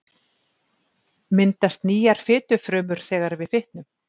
Myndast nýjar fitufrumur þegar við fitnum?